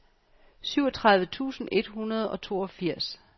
syvogtredive tusind et hundrede og toogfirs